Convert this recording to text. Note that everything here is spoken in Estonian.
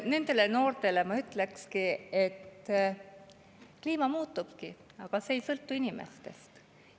Nendele noortele ma ütleks, et kliima muutubki, aga see ei sõltu inimestest.